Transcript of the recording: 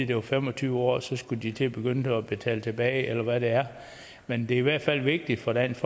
det var fem og tyve år og så skulle de til at begynde at betale tilbage eller hvad det er men det er i hvert fald vigtigt for dansk